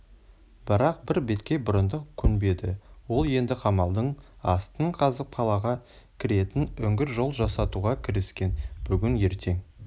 бірақ бір беткей бұрындық көнбеді ол енді қамалдың астын қазып қалаға кіретін үңгір-жол жасатуға кіріскен бүгін-ертең